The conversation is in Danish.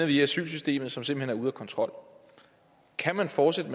via asylsystemet som simpelt hen er ude af kontrol kan man fortsætte